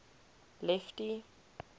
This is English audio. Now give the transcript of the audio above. lefty